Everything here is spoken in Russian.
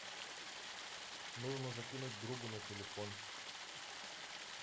нужно закинуть другу на телефон